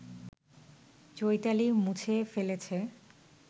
চৈতালি মুছে ফেলেছে